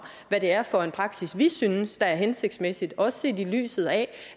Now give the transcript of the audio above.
hvad det er for en praksis vi synes er hensigtsmæssig også set i lyset af